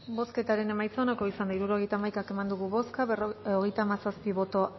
bozketaren emaitza onako izan da hirurogeita hamaika eman dugu bozka hogeita hamazazpi boto